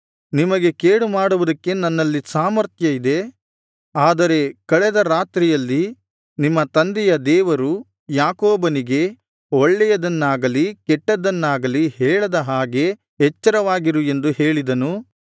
ನಿಮಗೆ ಕೇಡುಮಾಡುವುದಕ್ಕೆ ನನ್ನಲ್ಲಿ ಸಾಮರ್ಥ್ಯ ಇದೆ ಆದರೆ ಕಳೆದ ರಾತ್ರಿಯಲ್ಲಿ ನಿಮ್ಮ ತಂದೆಯ ದೇವರು ಯಾಕೋಬನಿಗೆ ಒಳ್ಳೆಯದನ್ನಾಗಲೀ ಕೆಟ್ಟದನ್ನಾಗಲಿ ಹೇಳದ ಹಾಗೆ ಎಚ್ಚರವಾಗಿರು ಎಂದು ಹೇಳಿದನು